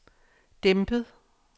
dæmpet